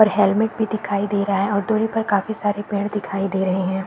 और हेलमेट भी दिखाई दे रहा है और दुरी पर काफी सारे पेड़ दिखाई दे रहे हैं।